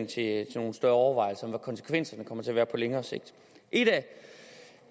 til nogle større overvejelser over hvad konsekvenserne kommer til at være på længere sigt en